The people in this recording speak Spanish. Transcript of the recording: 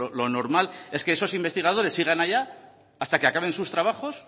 lo normal es que esos investigadores sigan allá hasta que acaben sus trabajos